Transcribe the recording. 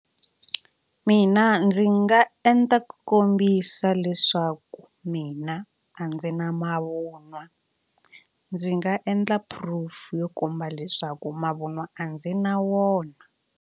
Mina ndzi nga endla ku kombisa leswaku mina a ndzi na mavunwa ndzi nga endla proof yo komba leswaku mavunwa a ndzi na wona.